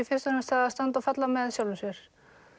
fyrst og fremst það að standa og falla með sjálfum sér